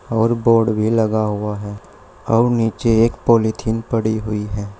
और बोर्ड भी लगा हुआ है और नीचे एक पॉलिथीन पड़ी हुई है।